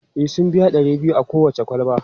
E, sun biya ɗari biyu a kowace kwalba.